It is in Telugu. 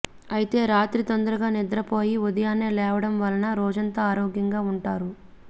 అయితే రాత్రి తొందరగా నిద్రపోయి ఉదయాన్నే లేవడం వలన రోజంతా ఆరోగ్యంగా ఉంటారు